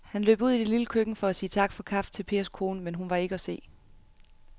Han løb ud i det lille køkken for at sige tak for kaffe til Pers kone, men hun var ikke til at se.